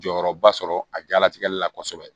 Jɔyɔrɔba sɔrɔ a jalatigɛli la kosɛbɛ